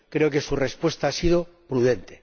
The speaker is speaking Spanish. Creo que su respuesta ha sido prudente.